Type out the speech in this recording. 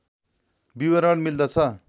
विवरण मिल्दछ